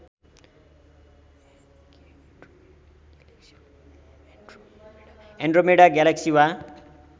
Andromeda galaxy वा